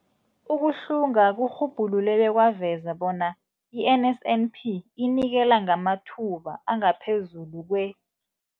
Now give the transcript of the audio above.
Ukuhlunga kurhubhulule bekwaveza bona i-NSNP inikela ngamathuba angaphezulu kwe-